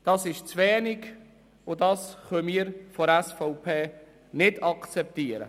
Das ist zu wenig, und wir von der SVP können den Vorschlag nicht akzeptieren.